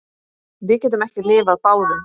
Við getum ekki lifað báðum.